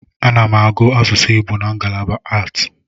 Ana m agụ asusu Igbo na ngalaba aatị.